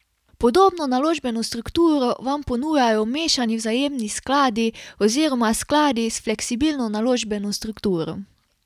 Podobno naložbeno strukturo vam ponujajo mešani vzajemni skladi oziroma skladi s fleksibilno naložbeno strukturo.